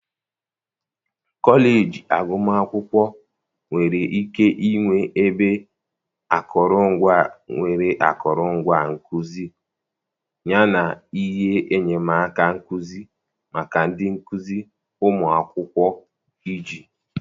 kọleji agụmakwụkwọ nwere ike ịnwe ebe akụrụngwa nwere akụrụngwa nkuzi yana ihe enyemaka nkuzi maka ndị nkuzi ụmụ akwụkwọ iji.